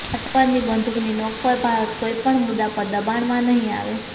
આતંકવાદની બંદૂકની નોંક પર ભારત કોઇ પણ મુદ્દા પર દબાણમાં નહીં આવે